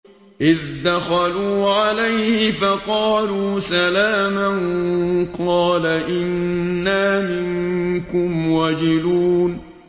إِذْ دَخَلُوا عَلَيْهِ فَقَالُوا سَلَامًا قَالَ إِنَّا مِنكُمْ وَجِلُونَ